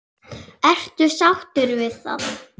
Ertu sáttur við það?